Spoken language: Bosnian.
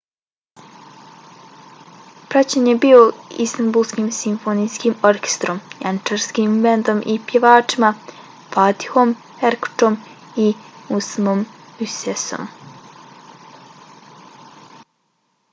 praćen je bio istanbulskim simfonijskim orkestrom janjičarskim bendom i pjevačima fatihom erkoçom i müslümom gürsesom